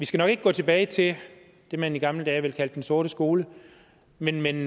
skal gå tilbage til det man i gamle dage ville kalde den sorte skole men men